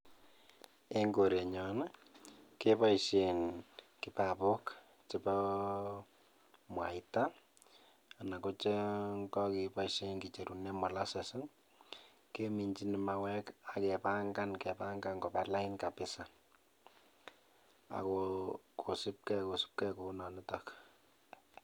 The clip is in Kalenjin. En korenyon keboishen kibabook chebo mwaita anan kochon kokeboishen kicherunen molasses keminjin mauwek akebangan kobalain kabisa ako kosipkee, kosipkee kounonitok